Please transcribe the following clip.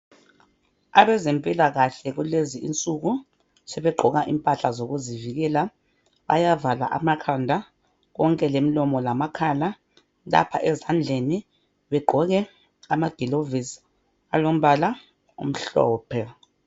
Abezempilakahle kulezi insuku sebegqoka impahla zokuzivikela. Bayavala amakhanda konke lemlomo lamakhala. Lapha ezandleni begqoke amaglovisi alombala omhlophe.